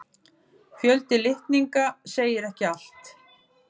Fjöldi litninga segir ekki allt.